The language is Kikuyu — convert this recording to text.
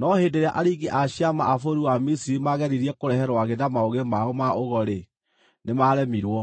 No hĩndĩ ĩrĩa aringi a ciama a bũrũri wa Misiri maageririe kũrehe rwagĩ na maũgĩ mao ma ũgo-rĩ, nĩmaremirwo.